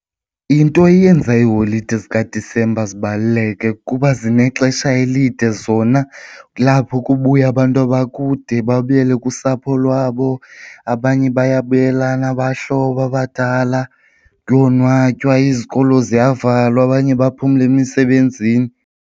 Into eyenza iiholide zikaDisemba zibaluleke, kuba zinexesha elide zona kulapho kubuya abantu abakude babuyele kusapho lwabo. Abanye bayabuyelana abahlobo abadala, kuyonwatywa, izikolo ziyavalwa abanye baphumle emisebenzini.